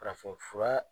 Farafinfura